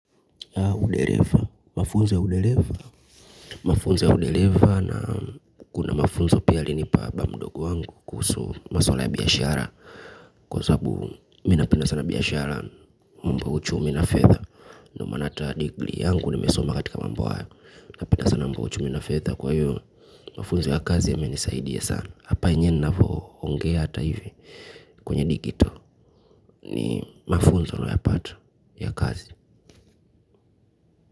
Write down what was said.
Hau udereva, mafunzo ya udereva mafunzo ya udereva na kuna mafunzo pia alinipa ba mdogo wangu kuhusu maswala ya biashara kwa sababu mi napenda sana biashara mambo ya uchumi na fedha ndio maana hata degree yangu nimesoma katika mambo haya napenda sana mambo ya uchumi na fedha kwa hiyo mafunzo ya kazi yamenisaidia sana hapa enyewe ninavoongea hata hivi kwenye digital ni mafunzo nayapata ya kazi.